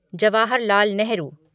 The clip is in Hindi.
जवाहर लाल नेहरू